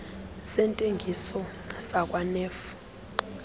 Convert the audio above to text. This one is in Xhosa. sentengiso sakwa nef